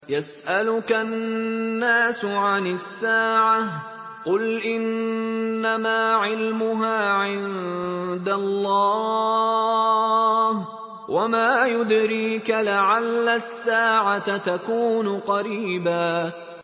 يَسْأَلُكَ النَّاسُ عَنِ السَّاعَةِ ۖ قُلْ إِنَّمَا عِلْمُهَا عِندَ اللَّهِ ۚ وَمَا يُدْرِيكَ لَعَلَّ السَّاعَةَ تَكُونُ قَرِيبًا